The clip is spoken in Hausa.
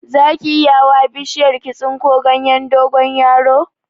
Zaki iya hawa bishiyar ki tsinko ganyen dogonyaro?